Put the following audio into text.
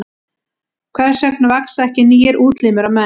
Hvers vegna vaxa ekki nýir útlimir á menn?